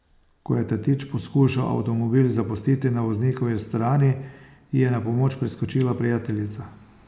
Ko je tatič poskušal avtomobil zapustiti na voznikovi strani, ji je na pomoč priskočila prijateljica.